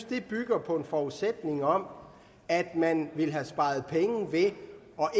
det bygger på en forudsætning om at man ville have sparet penge ved